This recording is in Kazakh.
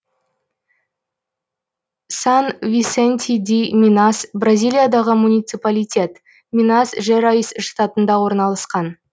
сан висенти ди минас бразилиядағы муниципалитет минас жерайс штатында орналасқан